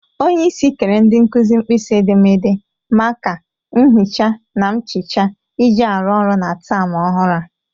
Onyeisi kere ndị nkụzị mkpisi edemede, maka,, nhịcha na mchịcha iji arụ ọrụ na tem ọhụrụ a